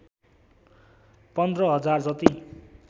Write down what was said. १५ हजार जति